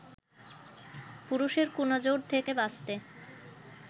পুরুষের 'কুনজর' থেকে বাঁচতে